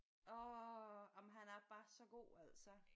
Orh jamen han er bare så god altså